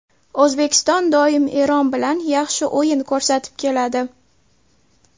O‘zbekiston doim Eron bilan yaxshi o‘yin ko‘rsatib keladi.